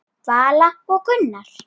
Vala og Gunnar.